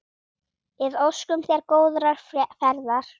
Við óskum þér góðrar ferðar.